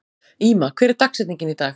Íma, hver er dagsetningin í dag?